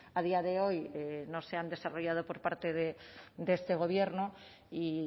a día de hoy no se han desarrollado por parte de este gobierno y